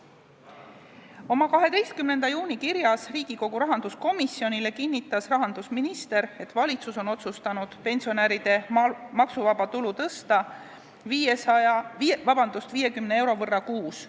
Oma 12. juuni kirjas Riigikogu rahanduskomisjonile kinnitas rahandusminister, et valitsus on otsustanud pensionäride maksuvaba tulu tõsta 50 euro võrra kuus.